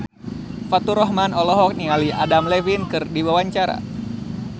Faturrahman olohok ningali Adam Levine keur diwawancara